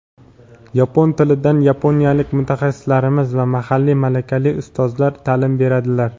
Yapon tilidan yaponiyalik mutaxassislarimiz va mahalliy malakali ustozlar ta’lim beradilar.